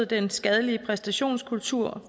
den skadelige præstationskultur